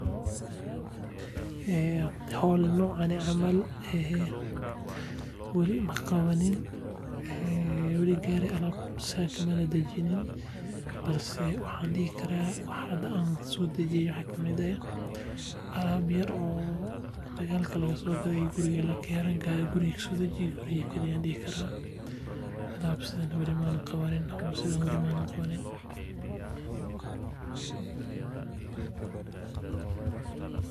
Ee howl nocane camal ee weli maqabanin weli gaari alab San kamanan dejinin, balse waxan dhihi karaa waxa hada an soo dejiye waxa kamid eh alab yar oo magalka lagaso gade oo guriga lakeene guriga kaso dejiye guriga geli an dhihi karaa, alab sidane weli manan qabanin howl sidan weli manan qabanin